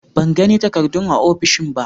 Ban gani takardun a ofishin ba.